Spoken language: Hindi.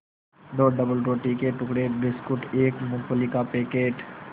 दो डबलरोटी के टुकड़े बिस्कुट एक मूँगफली का पैकेट